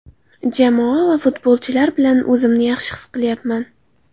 Jamoa va futbolchilar bilan o‘zimni yaxshi his qilyapman.